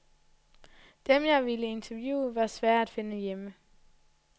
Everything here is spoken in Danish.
Dem, jeg ville interviewe, var svære at finde hjemme.